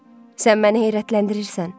Sən məni heyrətləndirirsən.